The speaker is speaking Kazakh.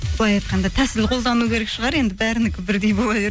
былай айтқанда тәсіл қолдану керек шығар енді бәрінікі бірде бола